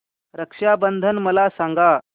रक्षा बंधन मला सांगा